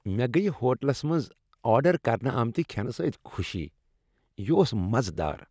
مےٚ گٔیۍ ہوٹلس منٛز آرڈر کرنہٕ آمتِہ کھینہٕ سۭتۍ خوشی۔ یِہ اوٚس مزٕدار۔